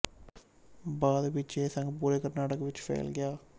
ਬਾਅਦ ਵਿੱਚ ਇਹ ਸੰਘ ਪੂਰੇ ਕਰਨਾਟਕ ਵਿੱਚ ਫੈਲ ਗਿਆ